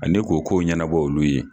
Ani k'o ko'ɲɛnabɔ olu ye